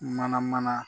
Mana mana